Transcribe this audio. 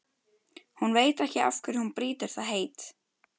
Hún veit ekki af hverju hún brýtur það heit.